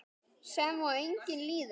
Sem og eigin líðan.